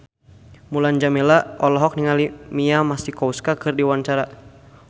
Mulan Jameela olohok ningali Mia Masikowska keur diwawancara